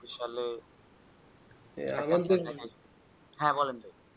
বিশাল হ্যাঁ বলেন তো